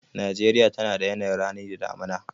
Najeriya tana da yanayin rani da damina.